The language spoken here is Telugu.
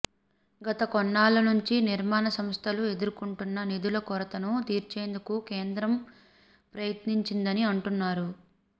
గత కొన్నేళ్ల నుంచి నిర్మాణ సంస్థలు ఎదుర్కొంటున్న నిధుల కొరతను తీర్చేందుకు కేంద్రం ప్రయత్నించిందని అంటున్నారు